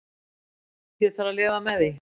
Ég þarf að lifa með því.